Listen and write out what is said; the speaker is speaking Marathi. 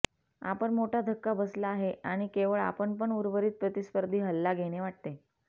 आपण मोठा धक्का बसला आहे आणि केवळ आपण पण उर्वरित प्रतिस्पर्धी हल्ला घेणे वाटते